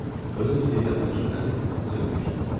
Öz-özlüyündə təəccüblənib sözümü kəsdim.